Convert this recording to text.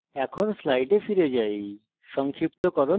এখন slides ফিরে যাই